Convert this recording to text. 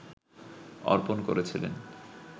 অর্পণ করেছিলেন